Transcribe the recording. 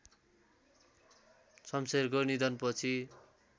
शम्शेरको निधन पछि